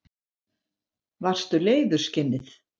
Varstu leiður, skinnið?